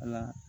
Ala